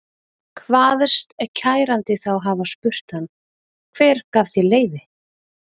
Kvaðst kærandi þá hafa spurt hann: Hver gaf þér leyfi?